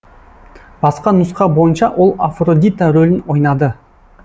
басқа нұсқа бойынша ол афродита рөлін ойнады